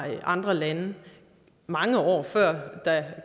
andre lande mange år før der